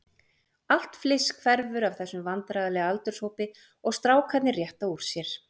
Allt fliss hverfur af þessum vandræðalega aldurshópi og strákarnir rétta úr sér.